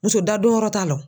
Muso da donyɔrɔ t'a la.